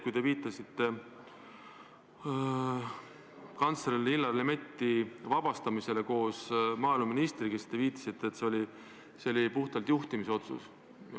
Kui te rääkisite kantsler Illar Lemetti ja maaeluministri ametist vabastamisest, siis te viitasite, et see oli puhtalt juhtimisotsus.